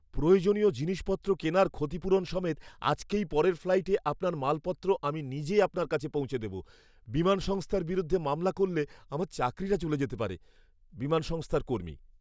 প্রয়োজনীয় জিনিসপত্র কেনার ক্ষতিপূরণ সমেত আজকেই পরের ফ্লাইটে আপনার মালপত্র আমি নিজে আপনার কাছে পৌঁছে দেব। বিমান সংস্থার বিরুদ্ধে মামলা করলে আমার চাকরিটা চলে যেতে পারে। বিমান সংস্থার কর্মী